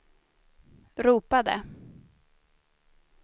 ropade